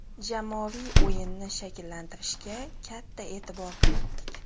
Jamoaviy o‘yinni shakllantirishga katta e’tibor qaratdik.